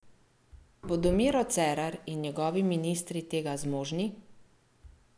Bodo Miro Cerar in njegovi ministri tega zmožni?